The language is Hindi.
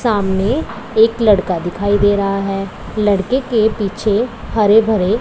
सामने एक लड़का दिखाई दे रहा है लड़के के पीछे हरे भरे--